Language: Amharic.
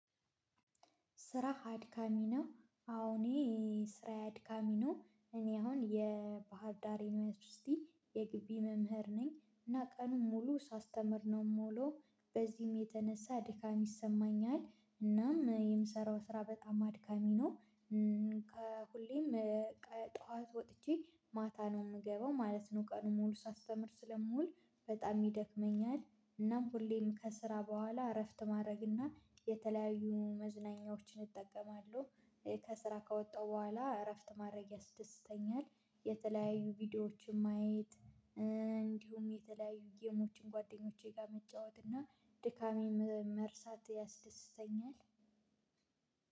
ስራህ አድካሚ ነው? አዎ እኔ ስራዬ አድካሚ ነው። እኔ አሁን የባህር ዳር ዩኒቨርሲቲ የግቢ መምህር ነኝ እና ቀኑን ሙሉ ሳስተምር ነው የምውለው በዚህም የተነሳ ድካም ይሰማኛል እናም የምሰራው ስራ በጣም አድካሚ ነው ከሁሌም ጠዋት ወጥቼ ማታ ነው የምገባው ማለት ነው ቀኑን ሙሉ ሳስተምር ስለምውል በጣም ይደክመኛል እናም ሁሌም ከስራ በኋላ እረፍት ማድረግ እና የተለያዩ መዝናኛዎችን እጠቀማለሁ ከስራ ከወጣሁ በኋላ እረፍት ማድረግ ያስደስተኛል የተለያዩ ቪዲዮዎችን ማየት እንዲሁም የተለያዩ ጌሞችን ጓደኞቼ ጋር መጫወት እና ድካሜን መርሳት ያስደስተኛል